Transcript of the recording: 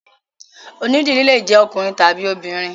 Onídìrí lè jẹ́ ọkùnrin tàbí obìnrin.